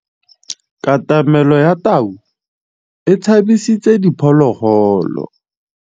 Katamêlô ya tau e tshabisitse diphôlôgôlô.